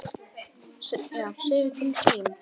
Segðu til þín!